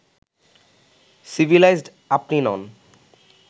civilised আপনি নন